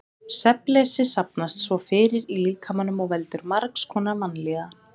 Svefnleysi safnast svo fyrir í líkamanum og veldur margs konar vanlíðan.